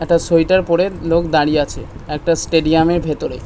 একটা সোয়েটার পরে লোক দাঁড়িয়ে আছে একটা স্টেডিয়ামের ভেতরে।